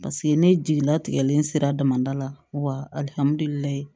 Paseke ne jigilatigɛlen sera damadala wa alihamudulilayi